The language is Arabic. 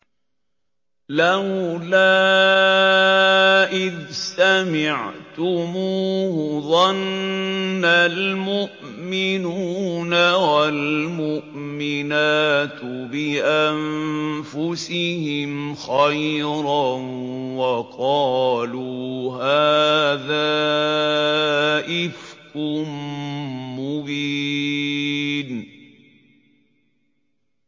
لَّوْلَا إِذْ سَمِعْتُمُوهُ ظَنَّ الْمُؤْمِنُونَ وَالْمُؤْمِنَاتُ بِأَنفُسِهِمْ خَيْرًا وَقَالُوا هَٰذَا إِفْكٌ مُّبِينٌ